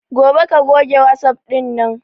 Gobe ka goge wasup ɗin nan